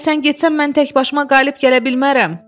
Əgər sən getsən mən təkbaşıma qalib gələ bilmərəm.